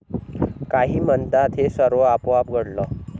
काही म्हणतात हे सर्व आपोआप घडलं.